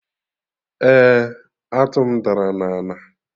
Eh, atụ m dara na ana